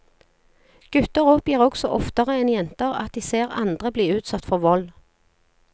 Gutter oppgir også oftere enn jenter at de ser andre bli utsatt for vold.